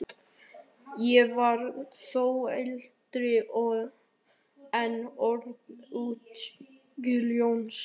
Ég var þó eldri en Örn útskýrði Jónsi.